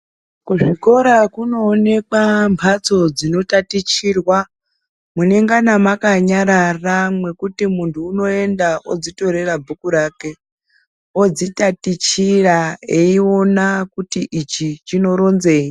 Kuzvikora kunoonekwambatso dzinotatichirwa munengana makanararwa mekuti muntu unoenda odzitorera bhuku rake odzitatichirq eiona kuti ichi chinoronzei.